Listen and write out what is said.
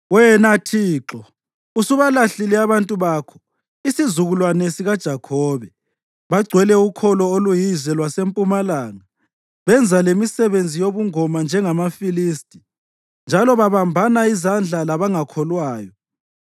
Wena, Thixo, usubalahlile abantu bakho, isizukulwane sikaJakhobe. Bagcwele ukholo oluyize lwaseMpumalanga benza lemisebenzi yobungoma njengamaFilisti, njalo babambana izandla labangakholwayo.